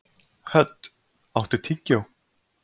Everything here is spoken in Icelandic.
Hödd, áttu tyggjó?